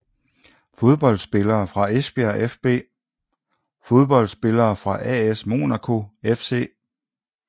Fodboldspillere fra Esbjerg fB Fodboldspillere fra AS Monaco FC